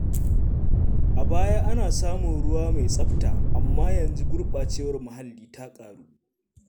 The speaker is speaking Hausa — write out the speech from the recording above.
A baya, ana samun ruwa mai tsabta, amma yanzu gurbacewar muhalli ta ƙaru.